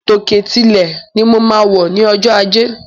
Tòkè tilẹ̀ ni mo máa wè ní ojó ajé.